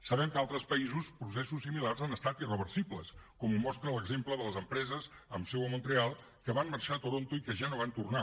sabem que a altres països processos similars han estat irreversibles com ho mostra l’exemple de les empreses amb seu a montreal que van marxar a toronto i que ja no van tornar